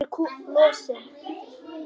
Ég er í losti.